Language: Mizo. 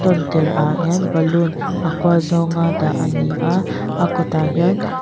tawntirah hian balloon a kual zawnga dah a ni a a kawtah hian--